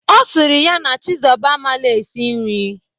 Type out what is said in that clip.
Ọ sịrị ya na Chizọba amalọ esi nri.